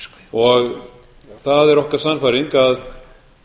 og það er okkar sannfæring að